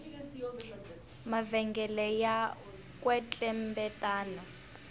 mavhengele ya kwetlembetana